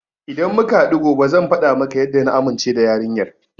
Idan muka haɗu gobe zan faɗa maka yadda na amince da yarinyar.